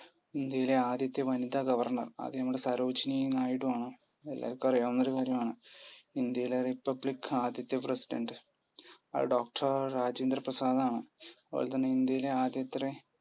ഇന്ത്യയിലെ ആദ്യത്തെ വനിത governor അത് നമ്മുടെ നായിഡു ആണ്. എല്ലാർക്കും അറിയാവുന്ന കാര്യം ആണ്. ഇന്ത്യയിലെ republic ആദ്യത്തെ precidentdoctor രാജേന്ദ്രപ്രസാദ് ആണ്. അതുപോലതന്നെ ഇന്ത്യയിലെ ആദ്യത്രെ